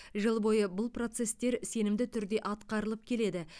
жыл бойы бұл процестер сенімді түрде атқарылып келеді